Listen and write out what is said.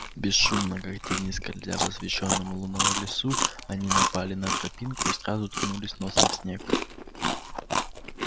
бесшумно как тени скользя в освещённом луной лесу они напали на тропинку и сразу ткнулись носом в снег